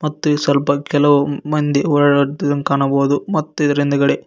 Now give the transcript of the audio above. ಮತ್ತು ಇ ಸ್ವಲ್ಪ ಕೆಲವು ಮಂದಿ ಓಡಾಡುತ್ತಿರುವುದನ್ನು ಕಾಣಬಹುದು ಮತ್ತು ಇದರ ಹಿಂದೆಗಡೆ --